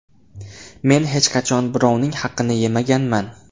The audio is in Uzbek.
Men hech qachon birovning haqini yemaganman.